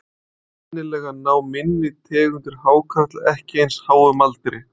Sennilega ná minni tegundir hákarla ekki eins háum aldri.